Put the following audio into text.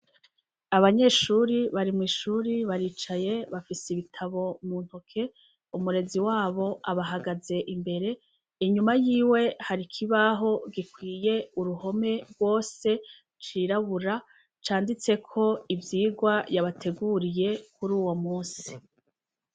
Abanyeshure bari mw’ishure baricaye bafise ibitabo mu ntoke, umurezi wabo abahagaze imbere inyuma yiwe hari ikibaho gikwiye uruhome rwose c’irabura canditseko ivyigwa yabateguriye kuruwo munsi.